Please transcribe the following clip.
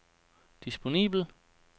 disponibel